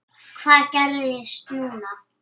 Hvað gerist núna?